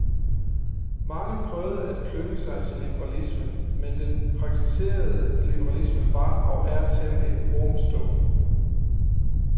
Mange prøvede at klynge sig til liberalismen, men den praktiserede liberalisme var og er temmelig ormstukken.